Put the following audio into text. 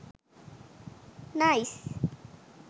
nice